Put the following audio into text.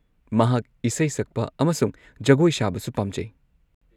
ꯃꯍꯥꯛ ꯏꯁꯩ ꯁꯛꯄ ꯑꯃꯁꯨꯡ ꯖꯒꯣꯏ ꯁꯥꯕꯁꯨ ꯄꯥꯝꯖꯩ꯫